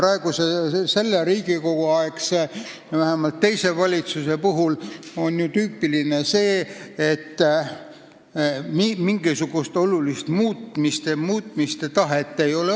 Vähemalt teisele praeguse Riigikogu aegsele valitsusele on tüüpiline see, et mingisugust olulist muutmise tahet ei ole.